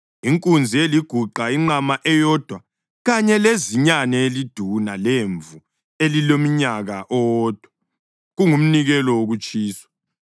inkunzi eliguqa, inqama eyodwa kanye lezinyane eliduna lemvu elilomnyaka owodwa, kungumnikelo wokutshiswa;